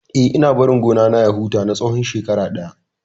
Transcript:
Eh, ina barin gona na ya huta na tsawon shekara ɗaya.